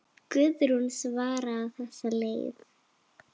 Guðrún svaraði á þessa leið.